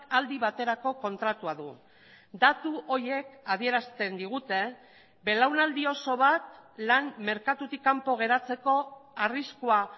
aldi baterako kontratua du datu horiek adierazten digute belaunaldi oso bat lan merkatutik kanpo geratzeko arriskua